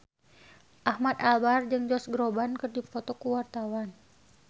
Ahmad Albar jeung Josh Groban keur dipoto ku wartawan